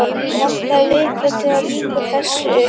Vantar lykla til að ljúka þessu upp.